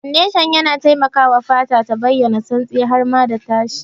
Fondashan yana taimakawa fata ta bayyana santsi har ma da tashi.